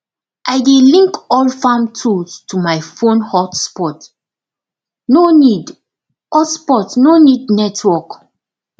i dey link all farm tools to my fon hotspotno need hotspotno need network